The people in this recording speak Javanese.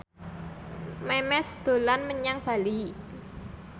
Memes dolan menyang Bali